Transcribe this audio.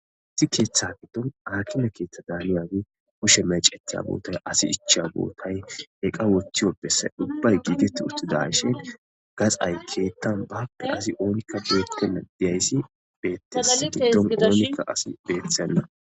Issi keeththa giddon akime keeththa daaniyagey kushe mecetiya bootay, asi ichiya bootay, eqqa wohthiyo bessay ubbay giigeti uttidashin gaxay keethan baappe asi oonikka beettenna deyayssi beetesi giddon oonikka asi beettenna